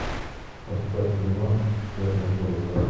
поставь кино черные паруса